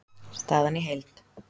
Staðan í heild